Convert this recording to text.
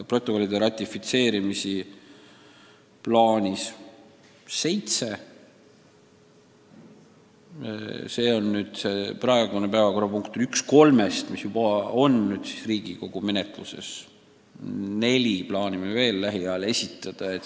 Praegu arutatav eelnõu on üks kolmest selle sisuga eelnõust, mis juba on Riigikogu menetluses, neli plaanime lähiajal veel esitada.